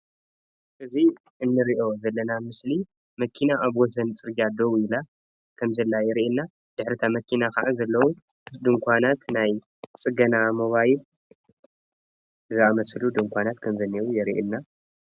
እዚ እንሪኦ ዘለና ምስሊ መኪና ኣብ ወሰን ፅርግያ ደው ኢላ ከም ዘላ የርኢና ድሕሪ ታመኪና ዘለዉ ድኳናት ናይ ፅገና ሞባይል ዝኣመሰሉ ድኳናት የርኢና።